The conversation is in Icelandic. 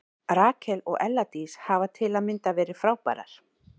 Rakel og Ella Dís hafa til að mynda verið frábærar.